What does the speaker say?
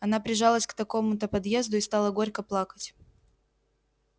она прижалась к какому-то подъезду и стала горько плакать